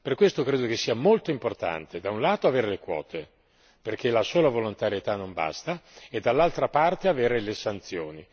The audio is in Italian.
Per questo, credo che sia molto importante, da un lato, avere le quote, perché la sola volontarietà non basta e, dall'altra parte, avere le sanzioni.